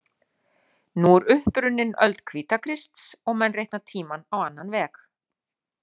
Nú er upp runnin öld Hvítakrists og menn reikna tímann á annan veg.